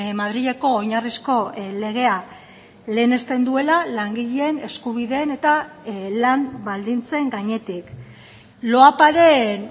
madrileko oinarrizko legea lehenesten duela langileen eskubideen eta lan baldintzen gainetik loaparen